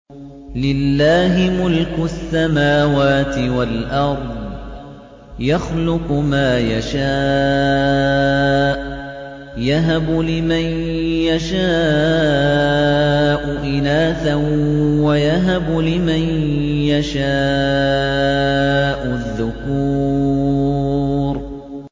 لِّلَّهِ مُلْكُ السَّمَاوَاتِ وَالْأَرْضِ ۚ يَخْلُقُ مَا يَشَاءُ ۚ يَهَبُ لِمَن يَشَاءُ إِنَاثًا وَيَهَبُ لِمَن يَشَاءُ الذُّكُورَ